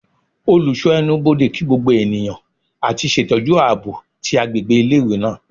oluso enubodè kí gbogbo eniyan ati ṣetọju aabo ti agbegbe ile-iwe naa